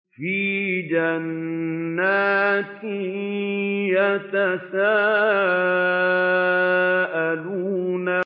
فِي جَنَّاتٍ يَتَسَاءَلُونَ